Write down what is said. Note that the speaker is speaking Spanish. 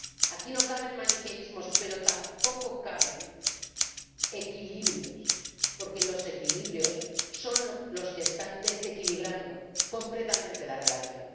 Aquí no caben maniqueísmos, pero tampoco caben equilibrios, porque los equilibrios son los que están desequilibrando completamente la relación.